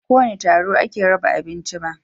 Ba a kowane taro ake raba abinci ba.